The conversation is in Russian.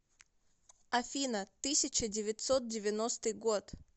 афина тысяча девятьсот девяностый год